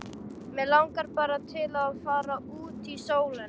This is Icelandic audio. Mig langar bara til að fara út í sólina.